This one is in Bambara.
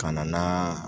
Ka na n'aa